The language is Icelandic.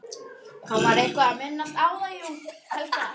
Hann var eitthvað að minnast á það, jú.